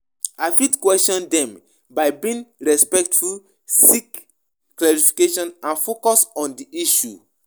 I fit question dem by being respectful, seek clarification and focus on di issue.